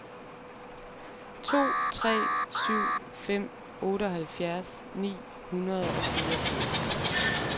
to tre syv fem otteoghalvfjerds ni hundrede og fireogfirs